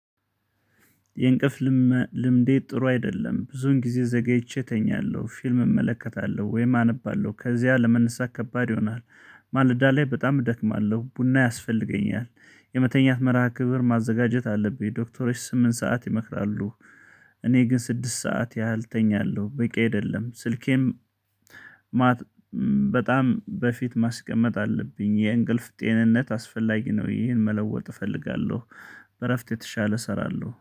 የእንቅፍ ልምዴ ጥሩ አይደለም ብዙን ጊዜ ዘገይቼ እተኛለሁ ፊልም እመለከታለሁ ወይም አነባለሁ ከዚያ ለመነሳት ከባድ ይሆናል። ማለዳ ላይ በጣም እደክማለሁ ቡና ያስፈልገኛል። የመተኛት መርሃ ክብር ማዘጋጀት አለብኝ ዶክተሮች ስምንት ሰዓት ይመጣሉ። እኔ ግን ስድስት ሰዓት ያህል እተኛለሁ በቂ አይደለም ስልኬም። በጣም በፊት ማስቀመጥ አለብኝ የእንቅልፍ ጤንነት አስፈላጊ ነው። ይሄን መለወጥ እፈልጋለሁ። በእረፍት የተሻለ እሰራለሁ